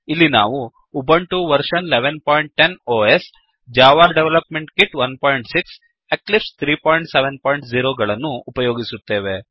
ಇಲ್ಲಿ ನಾವು Ubuntu version 1110 OS Ubuntu operating system ನ ಆವೃತ್ತಿ ೧೧೧೦ Java development kit 16 Java development kit ೧೬ ಹಾಗೂ ಎಕ್ಲಿಪ್ಸ್ 370 ಎಕ್ಲಿಪ್ಸ್ ೩೭೦ ಗಳನ್ನು ಉಪಯೋಗಿಸುತ್ತೇವೆ